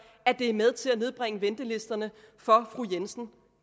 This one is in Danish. at det er med til at nedbringe ventelisterne for fru jensen